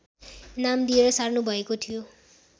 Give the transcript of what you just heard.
नाम दिएर सार्नु भएको थियो